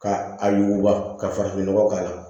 Ka a yuguba ka farafinnɔgɔ k'a la